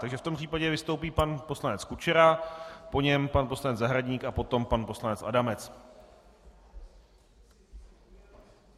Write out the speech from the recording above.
Takže v tom případě vystoupí pan poslanec Kučera, po něm pan poslanec Zahradník a potom pan poslanec Adamec.